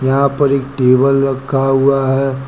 यहां पर एक टेबल रखा हुआ है।